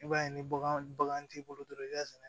I b'a ye ni bagan bagan t'i bolo dɔrɔn i b'a sɛnɛ